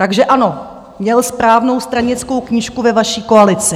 Takže ano, měl správnou stranickou knížku ve vaší koalici.